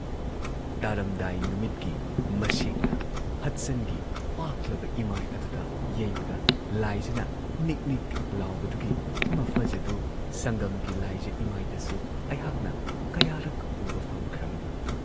ꯇꯥꯔꯝꯗꯥꯏ ꯅꯨꯃꯤꯠꯀꯤ ꯃꯁꯦꯛꯅ ꯍꯗꯁꯟꯒꯤ ꯄꯥꯛꯂꯕ ꯏꯃꯥꯏ ꯑꯗꯨꯗ ꯌꯩꯕꯗ ꯂꯥꯏꯖꯅ ꯅꯤꯛ ꯅꯤꯛ ꯂꯥꯎꯕꯗꯨꯒꯤ ꯃꯐꯖꯗꯨ ꯁꯪꯒꯝꯒꯤ ꯂꯥꯏꯖ ꯏꯃꯥꯏꯗꯁꯨ ꯑꯩꯍꯥꯛꯅ ꯀꯌꯥꯔꯛ ꯎꯕ ꯐꯪꯈ꯭ꯔꯕꯅꯤ ꯫